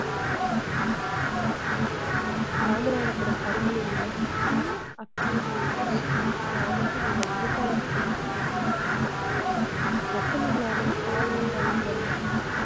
ராமநாதபுரம் அருகே உள்ள சின்ன அக்கிரமேசி கிராமத்தில் உள்ள விவசாயிகள் விவசாயத்தில் சத்த மில்லாமல் சாதனை படைத்து வருகின்றனர்.